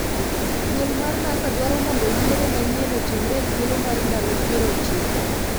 Duo mar NASA dwaro mondo yiero manyien otimre e thuolo mar ndalo piero ochiko